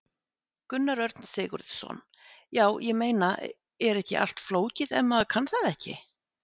Gunnar Örn Sigurðsson: Já, ég meina, er ekki allt flókið ef maður kann það ekki?